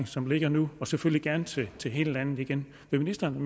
som ligger nu og selvfølgelig gerne til til hele landet igen vil ministeren